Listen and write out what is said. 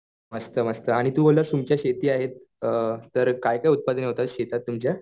मस्त मस्त आणि तू बोलला तुमची शेती आहे अ तर काय काय उत्पादन होतं शेतात तुमच्या?